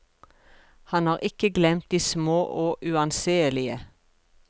Han har ikke glemt de små og uanseelige.